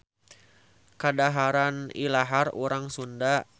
Kadaharan ilahar urang Sunda.